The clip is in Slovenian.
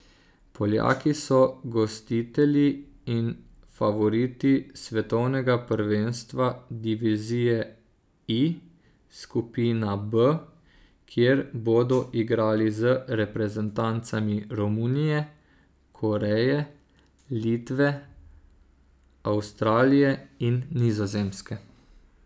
Poljaki so gostitelji in favoriti Svetovnega prvenstva Divizije I, skupina B, kjer bodo igrali z reprezentancami Romunije, Koreje, Litve, Avstralije in Nizozemske.